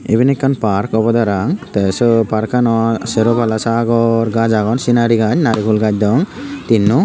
iban ekkan park obode parapang te siot parkanot sero pala sagor gaj agon scenari gaj naregulgaj degong tinno.